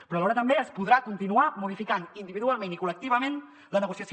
però alhora també es podrà continuar modificant individualment i col·lectivament la negociació